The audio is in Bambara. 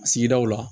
Sigidaw la